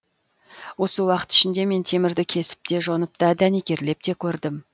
осы уақыт ішінде мен темірді кесіп те жонып та дәнекерлеп те көрдім